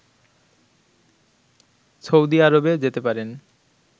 Saudi আরবে যেতে পারেন